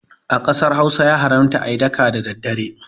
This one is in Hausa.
A ƙasar Hausa ya haramta ayi daka da daddare